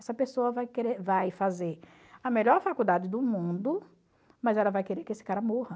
Essa pessoa vai querer vai fazer a melhor faculdade do mundo, mas ela vai querer que esse cara morra.